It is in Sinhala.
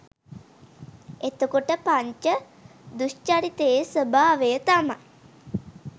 එතකොට පංච දුෂ්චරිතයේ ස්වභාවය තමයි